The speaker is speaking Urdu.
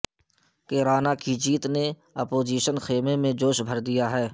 کیرانہ کی جیت نے اپوزیشن خیمے میں جوش بھر دیا ہے